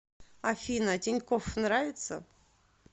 афина тинькофф нравится